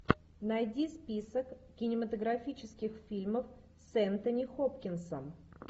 найди список кинематографических фильмов с энтони хопкинсом